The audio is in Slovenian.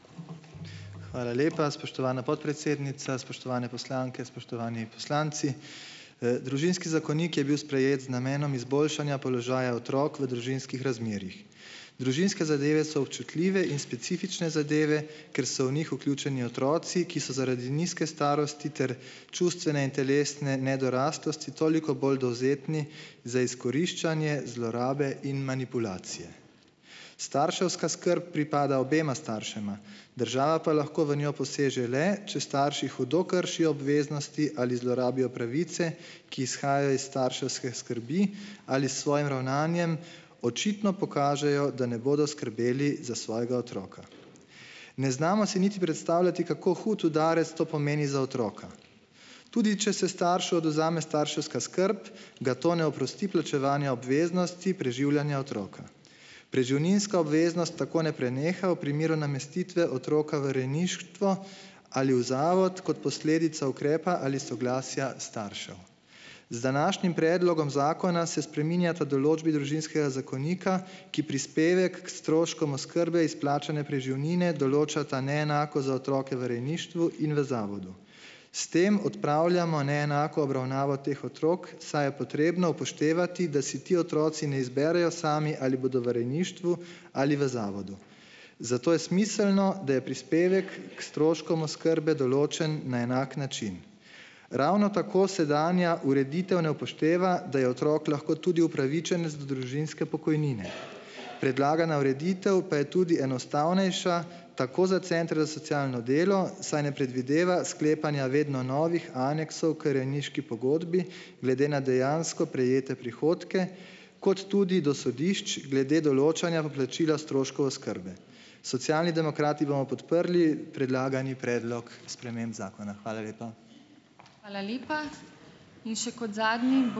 Hvala lepa, spoštovana podpredsednica. Spoštovane poslanke, spoštovani poslanci! Družinski zakonik je bil sprejet z namenom izboljšanja položaja otrok v družinskih razmerjih. Družinske zadeve so občutljive in specifične zadeve, ker so v njih vključeni otroci, ki so zaradi nizke starosti ter čustvene in telesne nedoraslosti toliko bolj dovzetni za izkoriščanje, zlorabe in manipulacije. Starševska skrb pripada obema staršema, država pa lahko v njo poseže le, če starši hudo kršijo obveznosti ali zlorabijo pravice, ki izhajajo iz starševske skrbi, ali s svojim ravnanjem očitno pokažejo, da ne bodo skrbeli za svojega otroka. Ne znamo si niti predstavljati, kako hud udarec to pomeni za otroka. Tudi če se staršu odvzame starševska skrb, ga to ne oprosti plačevanja obveznosti preživljanja otroka. Preživninska obveznost tako ne preneha v primeru namestitve otroka v rejništvo ali v zavod kot posledica ukrepa ali soglasja staršev. Z današnjim predlogom zakona se spreminjata določbi družinskega zakonika, ki prispevek k stroškom oskrbe izplačane preživnine določata neenako za otroke v rejništvu in v zavodu. S tem odpravljamo neenako obravnavo teh otrok, saj je potrebno upoštevati, da si ti otroci ne izberejo sami, ali bodo v rejništvu ali v zavodu. Zato je smiselno, da je prispevek k stroškom oskrbe določen na enak način. Ravno tako sedanja ureditev ne upošteva, da je otrok lahko tudi upravičenec do družinske pokojnine. Predlagana ureditev pa je tudi enostavnejša, tako za centre za socialno delo, saj ne predvideva sklepanja vedno novih aneksov k rejniški pogodbi glede na dejansko prejete prihodke, kot tudi do sodišč glede določanja poplačila stroškov oskrbe. Socialni demokrati bomo podprli predlagani predlog sprememb zakona. Hvala lepa.